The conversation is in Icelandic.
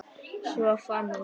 Svo fann hún hann.